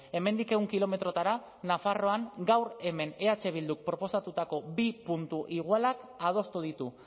hemendik ehun kilometrotara nafarroan gaur hemen eh bilduk proposatutako bi puntu igualak adostu ditu